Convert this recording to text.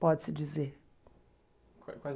Pode-se dizer. Qua quais